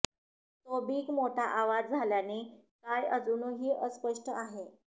तो बिग मोठा आवाज झाल्याने काय अजूनही अस्पष्ट आहे